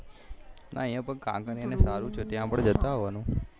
હા અહિયાં પણ કાંકરિયા ને સારું છે ત્યાં પણ જતા આવવા નું